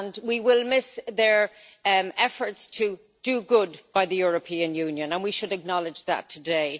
We will miss their efforts to do good by the European Union and we should acknowledge that today.